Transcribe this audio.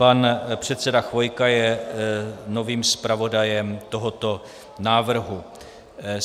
Pan předseda Chvojka je novým zpravodajem tohoto návrhu.